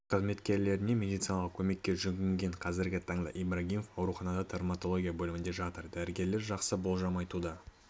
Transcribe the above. қызметкерлеріне медициналық көмекке жүгінген қазіргі таңда ибрагимов ауруханада травмотология бөлімінде жатыр дәрігерлер жақсы болжам айтуда